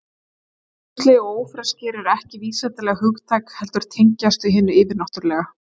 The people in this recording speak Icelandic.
Skrímsli og ófreskjur eru ekki vísindaleg hugtök heldur tengjast þau hinu yfirnáttúrulega.